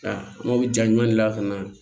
Nka mobili ja ɲuman de la ka na